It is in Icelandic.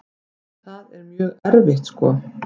Það er mjög erfitt sko.